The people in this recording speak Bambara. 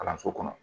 Kalanso kɔnɔ